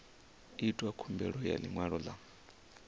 itwa khumbelo ya ḽiṅwalo ḽa